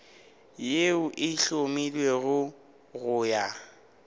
yeo e hlomilwego go ya